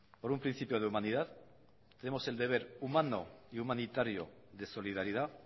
por un principio de humanidad tenemos el deber humano y humanitario de solidaridad